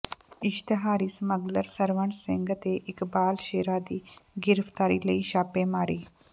ਇਸ਼ਤਿਹਾਰੀ smuggler Sarwan Singh ਤੇ ਇਕਬਾਲ ਸ਼ੇਰਾ ਦੀ ਗਿ੍ਫ਼ਤਾਰੀ ਲਈ ਛਾਪੇਮਾਰੀ